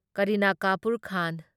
ꯀꯔꯤꯅ ꯀꯥꯄꯨꯔ ꯈꯥꯟ